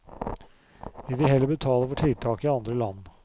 Vi vil heller betale for tiltak i andre land.